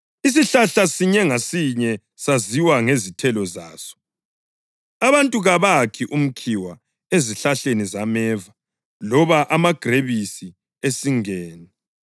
Isihlahla sinye ngasinye saziwa ngezithelo zaso. Abantu kabakhi umkhiwa ezihlahleni zameva loba amagrebisi esingeni.